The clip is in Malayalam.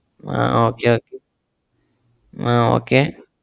ah okay okay ah okay